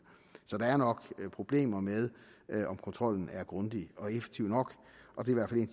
så der er nok problemer med om kontrollen er grundig og effektiv nok og det er